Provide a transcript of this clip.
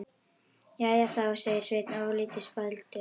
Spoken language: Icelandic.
Jæja þá, segir Svenni ofurlítið spældur.